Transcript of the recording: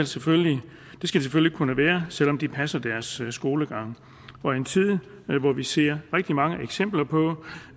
selvfølgelig kunne være selv om de passer deres skolegang og i en tid hvor vi ser rigtig mange eksempler på